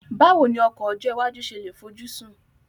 Báwo ni ọkọ̀ ọjọ́ iwájú ṣe lè fojúsùn